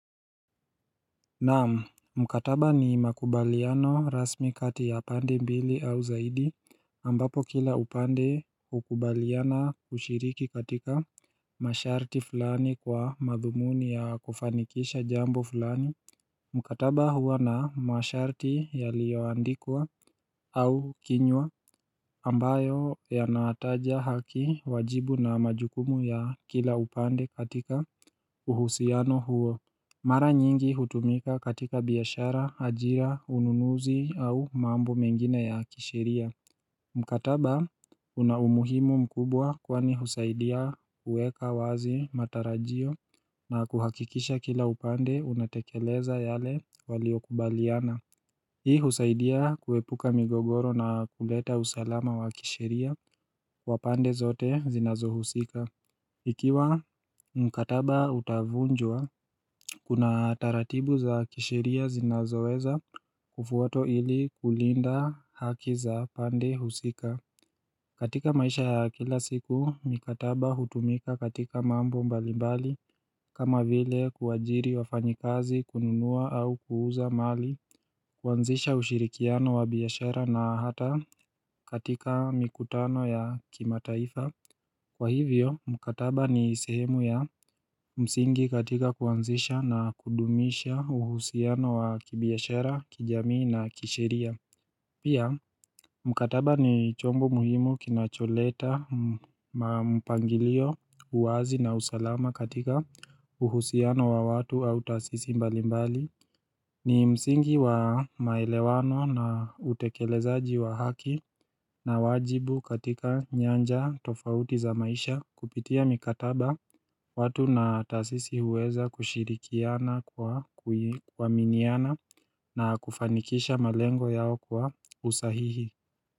Naam, mkataba ni makubaliano rasmi kati ya pande mbili au zaidi ambapo kila upande hukubaliana kushiriki katika masharti fulani kwa madhumuni ya kufanikisha jambo fulani Mkataba huwa na masharti yaliyoandikwa au kinywa ambayo yanataja haki wajibu na majukumu ya kila upande katika uhusiano huo Mara nyingi hutumika katika biashara, ajira, ununuzi au mambo mengina ya kisheria Mkataba una umuhimu mkubwa kwani husaidia kuweka wazi matarajio na kuhakikisha kila upande unatekeleza yale waliokubaliana Hii husaidia kuepuka migogoro na kuleta usalama wa kisheria kwa pande zote zinazohusika Ikiwa mkataba utavunjwa, kuna taratibu za kisheria zinazoweza kufuatwo ili kulinda haki za pande husika katika maisha ya kila siku, mikataba hutumika katika mambo mbalimbali kama vile kuajiri wafanyikazi kununua au kuuza mali kuanzisha ushirikiano wa biashara na hata katika mikutano ya kimataifa Kwa hivyo, mkataba ni sehemu ya msingi katika kuanzisha na kudumisha uhusiano wa kibiashara, kijamii na kisheria Pia, mkataba ni chombo muhimu kinacholeta, mpangilio, uwazi na usalama katika uhusiano wa watu au tasisi mbalimbali ni msingi wa maelewano na utekelezaji wa haki na wajibu katika nyanja tofauti za maisha kupitia mikataba watu na taasisi huweza kushirikiana kwa kuaminiana na kufanikisha malengo yao kwa usahihi.